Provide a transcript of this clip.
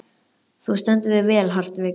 Þú stendur þig vel, Hartvig!